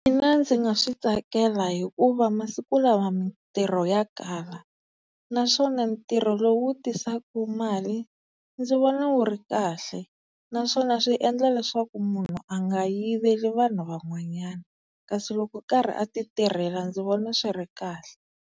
Mina ndzi nga swi tsakela hikuva masiku lawa mintirho ya kala, naswona ntirho lowu tisaka mali ndzi vona wu ri kahle naswona swi endla leswaku munhu a nga yiveli vanhu van'wanyana, kasi loko a karhi a ti tirhela ndzi vona swi ri kahle.